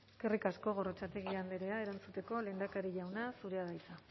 eskerrik asko gorrotxategi andrea erantzuteko lehendakari jauna zurea da hitza